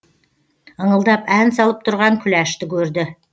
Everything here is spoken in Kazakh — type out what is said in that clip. ыңылдап ән салып тұрған күләшті көрді